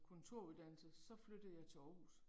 Kontoruddannelse, så flyttede jeg til Aarhus